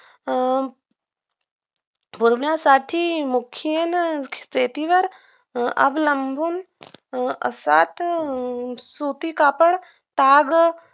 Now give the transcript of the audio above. अं होण्यासाठी मुख्याने शेतीवर अवलंबून असते सुटी कापड ताग